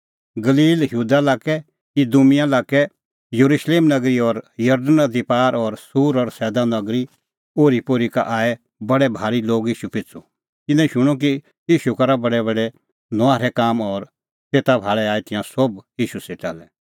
गलील यहूदा लाक्कै इदूमिआ लाक्कै येरुशलेम नगरी और जरदण नदी पार और सूर और सैदा नगरी ओरीपोरी का आऐ बडै भारी लोग ईशू पिछ़ू तिन्नैं शूणअ कि ईशू करा बडैबडै नुआहरै काम और तेता भाल़ै आऐ तिंयां सोभ ईशू सेटा लै